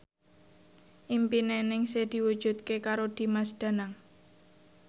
impine Ningsih diwujudke karo Dimas Danang